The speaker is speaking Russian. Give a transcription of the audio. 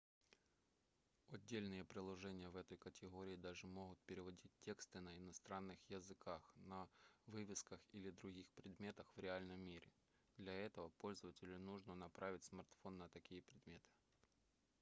отдельные приложения в этой категории даже могут переводить тексты на иностранных языках на вывесках или других предметах в реальном мире для этого пользователю нужно направить смартфон на такие предметы